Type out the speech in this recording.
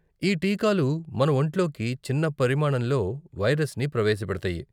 ఈ టీకాలు మన వొంట్లోకి చిన్న పరిమాణంలో వైరస్ని ప్రవేశపెడతాయి.